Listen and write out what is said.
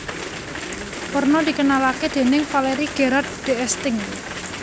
Werna dikenalake déning Valéry Gerard d Esting